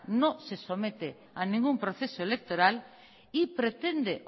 no se somete a ningún proceso electoral y pretende